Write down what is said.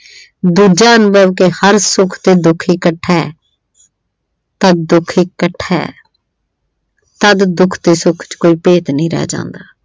ਦੂਜਿਆਂ ਅੰਦਰ ਕਿ ਹਰ ਸੁੱਖ ਤੇ ਦੁੱਖ ਇੱਕਠਾ ਤਾਂ ਦੁੱਖ ਇੱਕਠਾ ਤਦ ਦੁੱਖ ਤੇ ਸੁੱਖ ਚ ਕੋਈ ਭੇਤ ਨਹੀਂ ਰਹਿ ਜਾਂਦਾ।